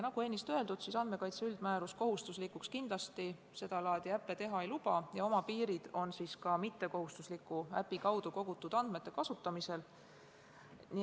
Nagu ennist öeldud, andmekaitse üldmäärus sedalaadi äppe kohustuslikuks kindlasti teha ei luba ja oma piirid on ka mittekohustusliku äpi kaudu kogutud andmete kasutamisel.